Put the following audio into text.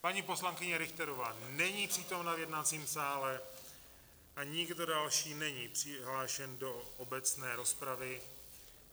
Paní poslankyně Richterová není přítomna v jednacím sále a nikdo další není přihlášen do obecné rozpravy.